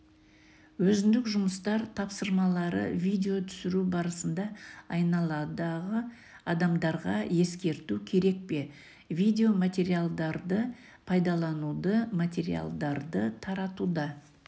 өзіндік жұмыстар тапсырмалары видео түсіру барысында айналадағы адамдарға ескерту керек пе видео материалдарды пайдалануда материалдарды таратуда